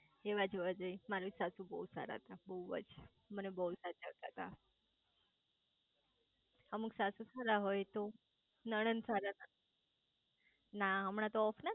એવાજ હોવા જોઈએ મારી સાસુ બહુજ સારા હતા બહુજ મને બહુ જ સાચવ તા તા અમુક સાસુ સારા હોય તો નણંદ સારા ના હોય ના હમણાં તો ઑફ ના થઇ ગયા